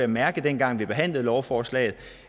mærke dengang vi behandlede lovforslaget